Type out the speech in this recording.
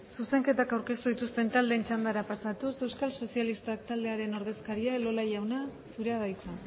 zuzenketa aurkeztu dituzten taldeen txandara pasatuz euskal sozialistak taldearen ordezkaria elola jauna zurea da hitza